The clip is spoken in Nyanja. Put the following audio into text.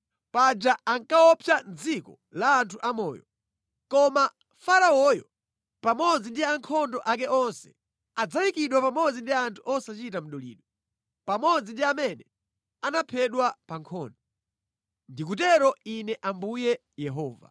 Paja ankaopsa mʼdziko la anthu amoyo. Koma Faraoyo pamodzi ndi ankhondo ake onse adzayikidwa pamodzi ndi anthu osachita mdulidwe, pamodzi ndi amene anaphedwa pa nkhondo. Ndikutero Ine Ambuye Yehova.”